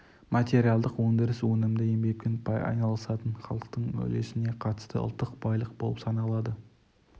материалдық өндіріс өнімді еңбекпен айналысатын халықтың үлесіне қатысты ұлттық байлық болып саналады